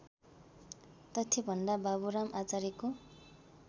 तथ्यभन्दा बाबुराम आचार्यको